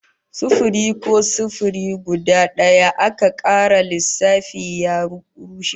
Sufiri ko sifili guda daya aka kara lissafi ya rushe